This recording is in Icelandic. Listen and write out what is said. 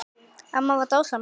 Amma var dásemd.